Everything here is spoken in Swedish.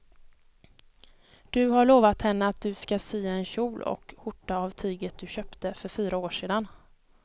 Du har lovat henne att du ska sy en kjol och skjorta av tyget du köpte för fyra år sedan.